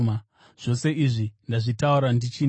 “Zvose izvi ndazvitaura ndichinemi.